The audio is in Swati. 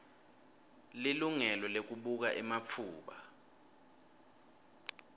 lilungelo lekubuka ematfuba